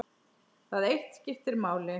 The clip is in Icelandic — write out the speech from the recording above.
Það eitt skipti máli.